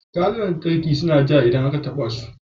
Kayan lantarki suna ja idan aka taba su da danshi